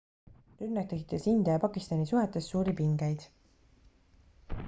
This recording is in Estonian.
rünnak tekitas india ja pakistani suhetes suuri pingeid